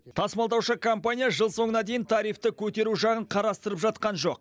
тасымалдаушы компания жыл соңына дейін тарифті көтеру жағын қарасытырылып жатқан жоқ